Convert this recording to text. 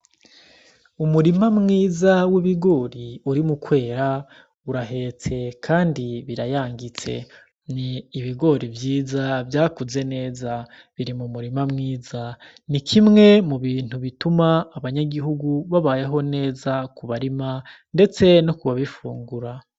Umurima mwiza w'ibigori uri mu kwera urahetse, kandi birayangitse ni ibigori vyiza vyakuze neza biri mu murima mwiza ni kimwe mu bintu bituma abanyagihugu babayeho neza kubarima, ndetse no kubabifungura.